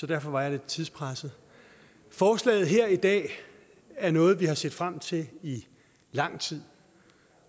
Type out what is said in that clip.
derfor var jeg lidt tidspresset forslaget her i dag er noget vi har set frem til i lang tid